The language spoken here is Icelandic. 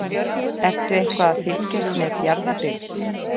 Ertu eitthvað að fylgjast með Fjarðabyggð?